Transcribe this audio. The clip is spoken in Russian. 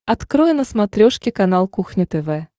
открой на смотрешке канал кухня тв